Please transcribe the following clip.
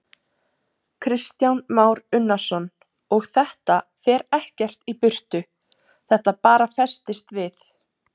Kristján Már Unnarsson: Og þetta fer ekkert í burtu, þetta bara festist við?